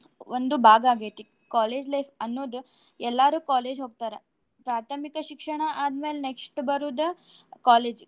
ಒಂದು ಭಾಗ ಆಗೇತಿ. College life ಅನ್ನೋದು ಎಲ್ಲಾರೂ college ಹೋಗ್ತಾರ. ಪ್ರಾಥಮಿಕ ಶಿಕ್ಷಣ ಆದ್ಮೇಲ್ next ಬರುದ college .